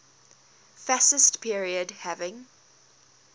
fascist period having